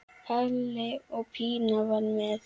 Palli og Pína fara með.